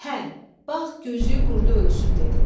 Hə, bax gözlüyün qurdu ölsün dedim.